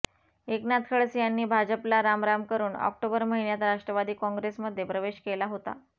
एकनाथ खडसे यांनी भाजपला रामराम करुन ऑक्टोबर महिन्यात राष्ट्रवादी काँग्रेसमध्ये प्रवेश केला होता